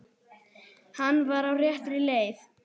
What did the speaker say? Hann var á réttri leið.